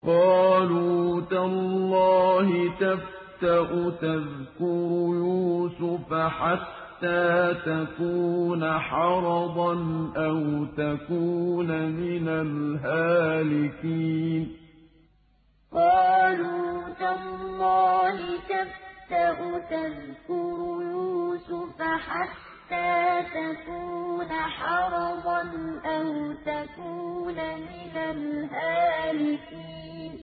قَالُوا تَاللَّهِ تَفْتَأُ تَذْكُرُ يُوسُفَ حَتَّىٰ تَكُونَ حَرَضًا أَوْ تَكُونَ مِنَ الْهَالِكِينَ قَالُوا تَاللَّهِ تَفْتَأُ تَذْكُرُ يُوسُفَ حَتَّىٰ تَكُونَ حَرَضًا أَوْ تَكُونَ مِنَ الْهَالِكِينَ